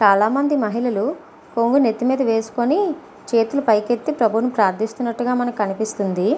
చాలా మంది మహిళాలు కొంగు నేతి మిద వేసోకొని చేతులు పైకి ఎత్తి ప్రభువు ని ప్రదిస్తునట్టు కనిపిస్తుంది .